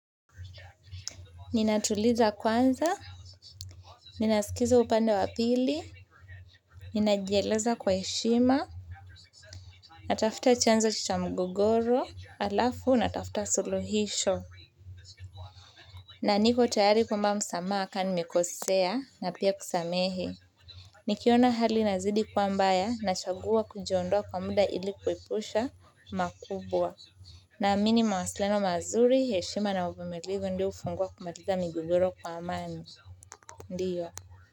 Ninatuliza kwanza, ninasikiza upande wa pili. Ninajieleza kwa heshima, natafuta chanzo cha mgogoro halafu natafuta suluhisho na niko tayari kuomba msamaha kama nimekosea na pia kusamehe nikiona hali inazidi kuwa mbaya, nachagua kujiondoa kwa muda ili kuwepusha makubwa naamini mawasiliano mazuri, heshima na uvumilivu ndio hufungua kumaliza migogoro kwa amani, ndiyo.